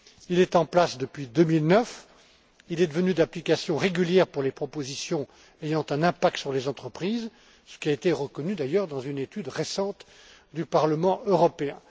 Il est en place depuis 2009 et il est devenu d'application régulière pour les propositions ayant un impact sur les entreprises, ce qui a été reconnu d'ailleurs dans une étude récente du Parlement européen.